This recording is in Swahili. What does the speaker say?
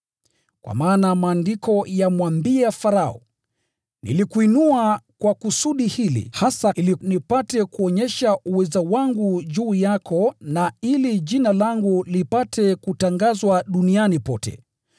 Kwa maana Maandiko yamwambia Farao, “Nilikuinua kwa kusudi hili hasa, ili nipate kuonyesha uweza wangu juu yako, na ili Jina langu lipate kutangazwa duniani yote.”